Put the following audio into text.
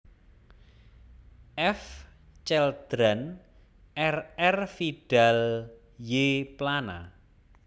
F Celdran R R Vidal y Plana